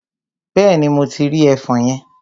Bẹ́ẹ̀ni, mo ti rí ẹfọn yẹn.